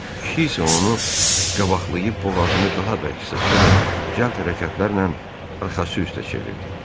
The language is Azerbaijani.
Kişi isə onu qabaqlayıb boğazını daha bərk sıxdı və cəld hərəkətlərlə arxası üstə çevirdi.